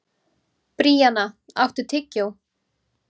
Bríanna, áttu tyggjó?